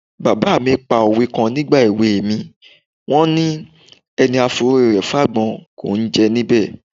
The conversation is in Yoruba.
Bàbá mi pa òwe kan nígbà èwe mi, wọ́n ni: "Ẹni a forí rẹ̀ fágbọ́n, kò ní jẹ níbẹ̀".